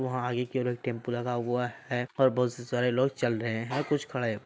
वहा आगे की ओर एक टेम्पो लगा हुआ है ओर बोहोत से सारे लोग चल रहै है और कुछ खड़े--